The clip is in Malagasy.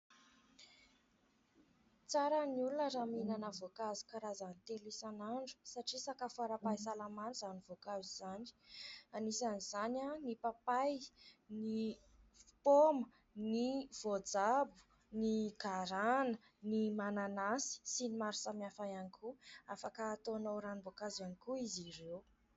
Tsara ny olona raha mihinana voankazo karazany telo isan'andro satria sakafo ara-pahasalamana izany voankazo izany anisan'izany ny papay, ny paoma, ny voajabo, ny garana, ny mananasy sy ny maro samihafa ihany koa afaka hataonao ranomboankazo ihany koa izy ireo.